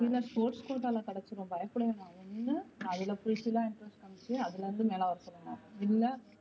இல்ல sports quota ல கிடைச்சிடும் பயப்பட வேண்டாம் ஒன்னு அது full fill லா interest காமிச்சு அதுல இருந்து மேல வர சொல்லுங்க இல்ல.